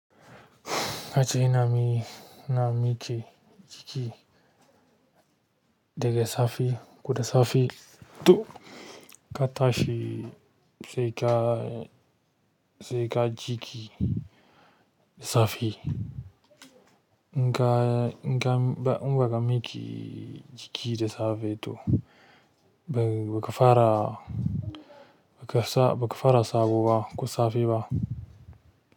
Ka ce na mi, na miki jiki daga safe, koda safe duk. Ka tashi sai ka, sai ka ji ki safe. Inka inka un baka miƙa jiki da safe ba to baka fara sabo ba ko safe ba.